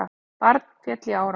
Barn féll í árás